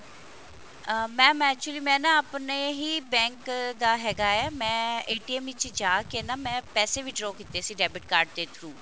ਅਹ mam actually ਮੈਂ ਨਾ ਆਪਣੇ ਹੀ bank ਦਾ ਹੈਗਾ ਹੈ ਮੈਂ ਵਿੱਚ ਜਾਕੇ ਨਾ ਮੈਂ ਪੈਸੇ withdraw ਕੀਤੇ ਸੀ debit card ਦੇ through